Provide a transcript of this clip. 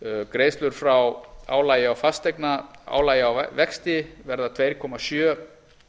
greiðslur frá álagi á fasteignaálagi á vexti verða tvö komma sjö